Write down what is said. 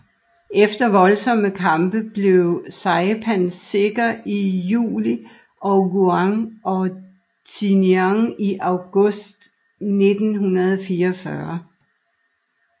Efter voldsomme kampe blev Saipan sikker i juli og Guam og Tinian i august 1944